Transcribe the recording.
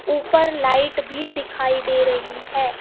ऊपर लाइट भी दिखाई दे रही है.